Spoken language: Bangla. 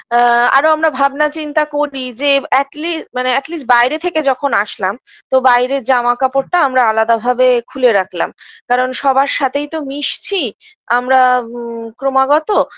আ আরও আমরা ভাবনা চিন্তা করি যে atleast মানে atleast বাইরে থেকে যখন আসলাম তো বাইরের জামাকাপড়টা আমরা আলাদা ভাবে খুলে রাখলাম কারণ সবার সাথেই তো মিশছি আমরা ম ক্রমাগত